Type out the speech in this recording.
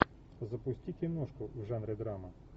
запусти киношку в жанре драма